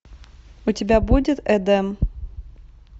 у тебя будет эдем